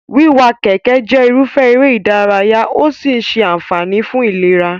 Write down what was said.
Wíwa kẹ̀kẹ́ jẹ́ irúfẹ́ eré-ìdárayá¸ ó sì ń ṣe àǹfààní fún ìlera.